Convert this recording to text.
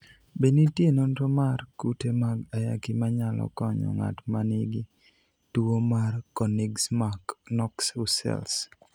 Be nitie nonro mar kute mag ayaki manyalo konyo ng'at ma nigi tuwo mar Konigsmark Knox Hussels?